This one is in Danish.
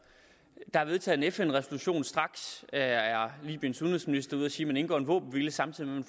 der blev vedtaget en fn resolution og straks er libyens udenrigsminister ude at sige at man indgår en våbenhvile samtidig med